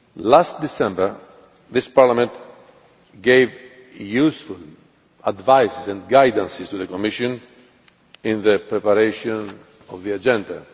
Last December, this Parliament gave useful advice and guidance to the Commission in its preparation of the agenda.